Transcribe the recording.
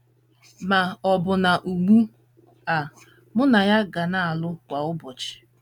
Ma, ọbụna ugbu a, mụ na ya ka na - alụ kwa ụbọchị.